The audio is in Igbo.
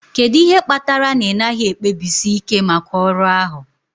Kedu ihe kpatara na ị naghị ekpebisi ike maka ọrụ ahụ?